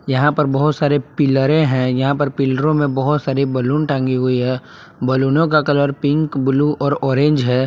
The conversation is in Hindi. यहां पर बहुत सारे पिलरें हैं यहां पर पिलरों में बहुत सारे बलून टांगी हुई है बलूनों का कलर पिंक ब्लू और ऑरेंज है।